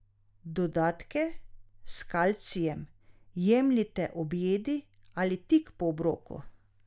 Dodatke s kalcijem jemljite ob jedi ali tik po obroku.